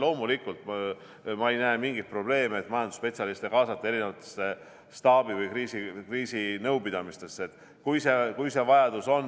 Loomulikult, ma ei näe mingit probleemi, et kaasata majandusspetsialiste erinevatesse staabi- või kriisinõupidamistesse, kui see vajadus on.